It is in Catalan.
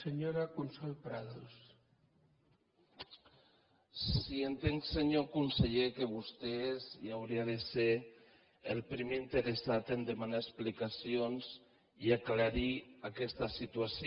sí entenc senyor conseller que vostè hauria de ser el primer interessat a demanar explicacions i aclarir aquesta situació